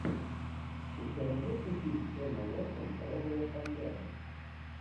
у тебя найдется фильм эмма уотсон розовая пантера